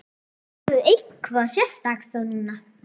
Verður eitthvað sérstakt þá núna?